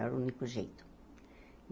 Era o único jeito.